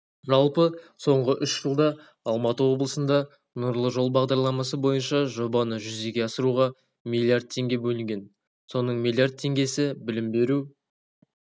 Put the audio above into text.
жалпы соңғы үш жылда алматы облысында нұрлы жол бағдарламасы бойынша жобаны жүзеге асыруға млрд теңге бөлінген соның млрд теңгесі білім беру